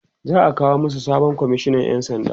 za'a kawo masu sabon komishinan ƴan sanda